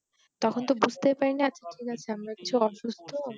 তখন তো বুঝতেপারি না